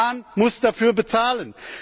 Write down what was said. Die Bahn muss dafür bezahlen.